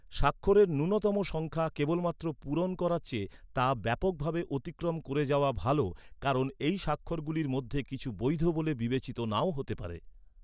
স্বাক্ষরের ন্যূনতম সংখ্যা কেবলমাত্র পূরণ করার চেয়ে তা ব্যাপকভাবে অতিক্রম করে যাওয়া ভাল কারণ এই স্বাক্ষরগুলির মধ্যে কিছু বৈধ বলে বিবেচিত নাও হতে পারে৷